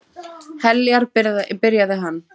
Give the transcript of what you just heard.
Heljar, byrjaði hann.